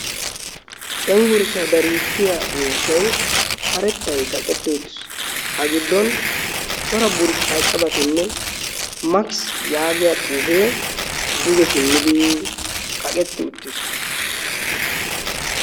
Cenggurssa dariissiya miishshai karettay kaqetti uttiis. A giddon cora burccaa cabatinne makisi yaagiya xuufee duge simmidi kaqetti uttiis.